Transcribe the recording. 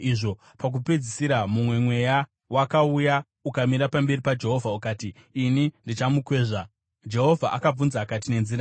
Pakupedzisira mumwe mweya wakauya, ukamira pamberi paJehovha ukati, ‘Ini ndichandomukwezva.’ “Jehovha akabvunza akati, ‘Nenzira ipi.’